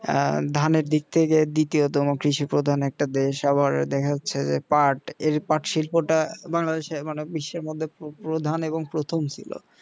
আহ ধানের দিক থেকে দ্বিতীয়তম কৃষি প্রধান একটা দেশ আবার দেখাচ্ছে যে পার্ট এর পাট শিল্পটা বাংলাদেশের মানে বিশ্বের মধ্যে প্রধান এবং প্রথম ছিল